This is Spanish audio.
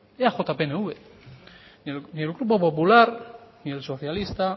eaj pnv ni el grupo popular ni el socialista